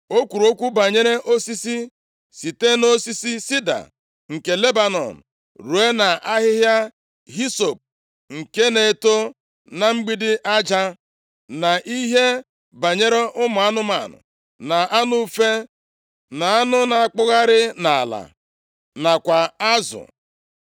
O kwuru okwu banyere osisi, site na osisi sida nke Lebanọn ruo nʼahịhịa hisọp nke na-eto na mgbidi aja, na ihe banyere ụmụ anụmanụ na anụ ufe, na anụ na-akpụgharị nʼala nakwa azụ.